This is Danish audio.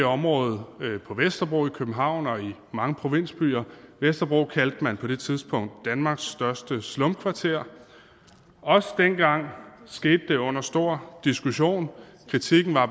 område på vesterbro i københavn og i mange provinsbyer vesterbro kaldte man på det tidspunkt danmarks største slumkvarter og også dengang skete det under stor diskussion kritikken var